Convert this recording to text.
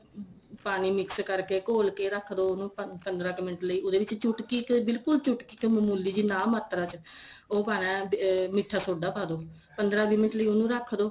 ਪਾਣੀ mix ਕਰਕੇ ਘੋਲ ਕੇ ਰੱਖ ਦੋ ਉਨੂੰ ਪੰਦਰਾ ਕ ਮਿੰਟ ਲਈ ਉਹਦੇ ਵਿੱਚ ਚੁਟਕੀ ਤੇ ਬਿਲਕੁਲ ਚੁਟਕੀ ਤੇ ਮਾਮੂਲੀ ਜੀ ਨਾ ਮਾਤਰਾ ਚ ਉਹ ਪਾਣਾ ਅਹ ਮੀਠਾ ਸੋਡਾ ਪਾ ਦੋ ਪੰਦਰਾਂ ਵੀਹ ਮਿੰਟ ਲਈ ਉਨੂੰ ਰੱਖ ਦੋ